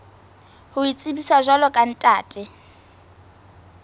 ho itsebisa jwalo ka ntate